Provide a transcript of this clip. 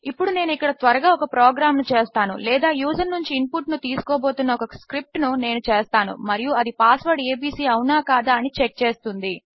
ఇప్పుడు నేను ఇక్కడ త్వరగా ఒక ప్రోగ్రామ్ ను చేస్తాను లేదా యూజర్ నుంచి ఇన్పుట్ ను తీసుకోబోతున్న ఒక స్క్రిప్ట్ ను నేను చేస్తాను మరియు అది పాస్వర్డ్ ఏబీసీ అవునా కాదా అని చెక్ చేస్తుంది